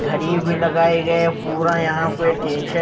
घड़ी भी लगाए गए पूरा यहां पे टेंशन ---